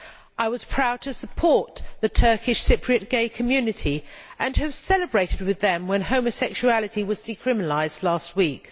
I was proud to support the Turkish Cypriot gay community and celebrated with them when homosexuality was decriminalised last week.